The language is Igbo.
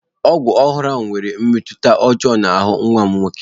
Ọgwụ ọhụrụ ahụ nwere mmetụta ọjọọ n'ahụ nwa m nwoke